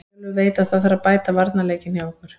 Eyjólfur veit að það þarf að bæta varnarleikinn hjá okkur.